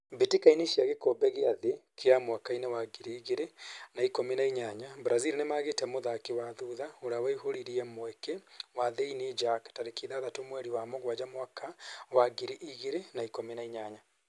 Mbĩtĩka-inĩ cia Gĩkombe gĩa thĩ kĩa mwaka-inĩ wa ngiri igĩrĩ na ikũmi na inyaya: Brazil nĩmagĩte mũthaki wa thutha ũrĩa waihũririe mweke wa thĩiniĩ Jack tarĩki ĩthathatu mweri wa mũgwanja mwaka wa ngiri igĩrĩ na ikũmi na inyanya